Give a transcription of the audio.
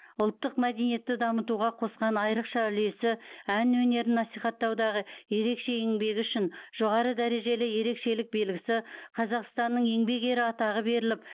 ұлттық мәдениетті дамытуға қосқан айрықша үлесі ән өнерін насихаттаудағы ерекше еңбегі үшін жоғары дәрежелі ерекшелік белгісі қазақстанның еңбек ері атағы беріліп